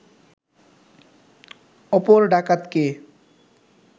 অপর ডাকাতকে